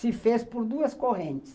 se fez por duas correntes.